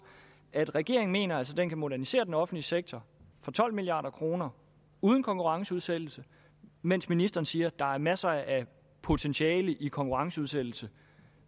at regeringen altså mener at den kan modernisere den offentlige sektor for tolv milliard kroner uden konkurrenceudsættelse mens ministeren siger der er masser af potentiale i konkurrenceudsættelse